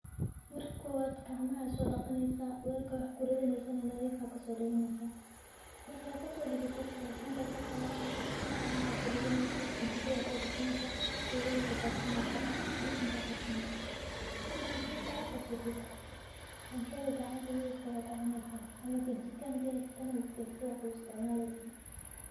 Marka kowad gacmaha aa so daqaneysaah , welka aa wax kuridaneyse nadif aa kasodiganeysaah , marka kasodigatid rashinka aa soqadeyneysaah saxanka aa kuridaneysaah, kajikad aa sogashaneysaah sugada aa kudarsaneysaahbisinka aa qabsane. Bisinka marka aa qabsatid cuntadha gacanta midig aa kucuni, ama kajika hadaa haysatano na kajikada aa ku isticmaleysaah.